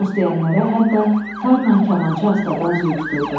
Tost deyənlərə hətta tarla kamança astadan züy tuturdu.